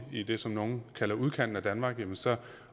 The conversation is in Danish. i det som nogle kalder udkanten af danmark jamen så